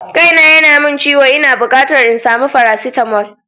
Kaina yana min ciwo, ina bukatar in sami faracetamol.